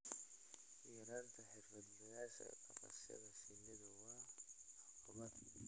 yaraanta xirfadlayaasha dhaqashada shinnidu waa caqabad.